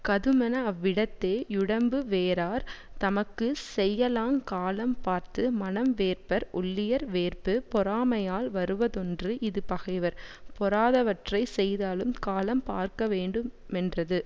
கதுமென அவ்விடத்தே யுடம்பு வேரார் தமக்கு செய்யலாங் காலம் பார்த்து மனம் வேர்ப்பர் ஒள்ளியர் வேர்ப்பு பொறாமையால் வருவதொன்று இது பகைவர் பொறாதவற்றை செய்தாலும் காலம் பார்க்கவேண்டுமென்றது